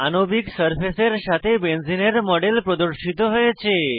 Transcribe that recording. আণবিক সারফেসের সাথে বেঞ্জিনের মডেল প্রদর্শিত হয়েছে